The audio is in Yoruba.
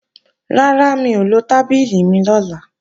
Rárá, mi ò lo tábìlì mi lọ́la